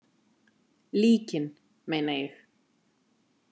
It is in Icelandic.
Líkin meina ég.